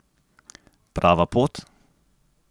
Prava pot?